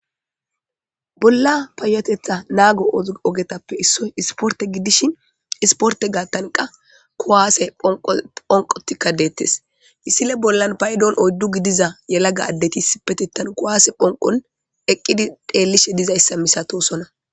bolla payatetha naago ogetappe issoy isporte gidishin isporte gaattan qa kuwaase phonqotikka deettes issile bollan paydon oyddu gidiza yelaga addetisi petitan kuwaase phonqon eqqidi dheellishe dizayssa misatosona